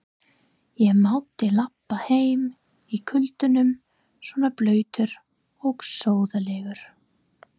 Ég mátti labba heim í kuldanum svona blautur og sóðalegur.